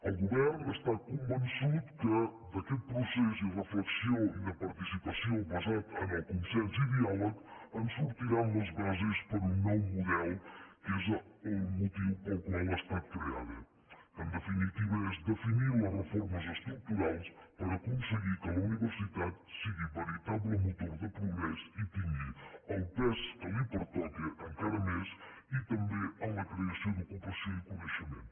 el govern està convençut que d’aquest procés i re·flexió i de participació basat en el consens i diàleg en sortiran les bases per a un nou model que és el motiu pel qual ha estat creada en definitiva és definir les re·formes estructurals per aconseguir que la universitat sigui veritable motor de progrés i tingui el pes que li pertoca encara més i també en la creació d’ocupació i coneixement